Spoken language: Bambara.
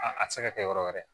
A a tɛ se ka kɛ yɔrɔ wɛrɛ